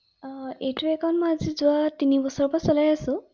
অ এইটো একান্ট মই আজি যোৱা তিনি বছৰৰ পৰা চলাই আছো ৷